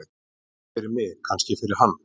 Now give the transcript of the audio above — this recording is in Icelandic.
Ekki fyrir mig, kannski fyrir hann.